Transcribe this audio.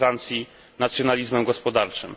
we Francji, nacjonalizmem gospodarczym.